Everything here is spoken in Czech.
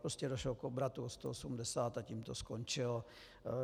Prostě došlo k obratu o 180 a tím to skončilo.